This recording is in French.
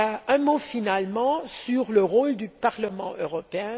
Un mot finalement sur le rôle du Parlement européen.